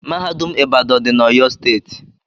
Mahadum ibadan dị na oyo steeti.